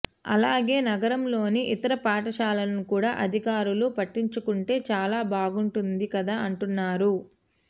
అలాగే నగరంలోని ఇతర పాఠశాలలను కూడా అధికారులు పట్టించుకుంటే చాలా బాగుంటుంది కదా అంటున్నారు